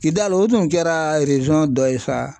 Kidali o tun kɛra dɔ ye sa.